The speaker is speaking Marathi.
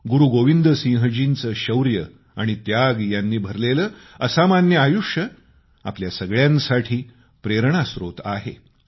गुरूगोविंद सिंहजींचे शौर्य आणि त्याग यांनी भरलेले असामान्य आयुष्य आपल्या सगळ्यांसाठी प्रेरणास्त्रोत आहे